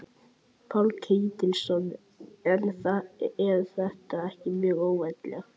Páll Ketilsson: En er þetta ekki mjög óvanalegt?